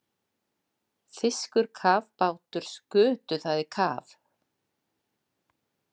Þýskir kafbátar skutu það í kaf.